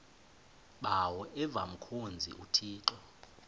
bawo avemkhonza uthixo